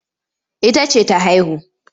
Ita ce ta haihu.